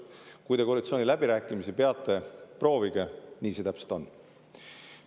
Kui te koalitsiooniläbirääkimisi peate, siis proovige, nii see täpselt on.